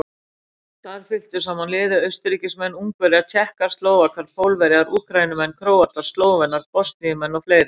Þar fylktu saman liði Austurríkismenn, Ungverjar, Tékkar, Slóvakar, Pólverjar, Úkraínumenn, Króatar, Slóvenar, Bosníumenn og fleiri.